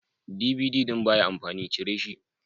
DVD ɗin baya amfani, cire shi.